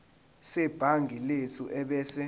sebhangi lethu ebese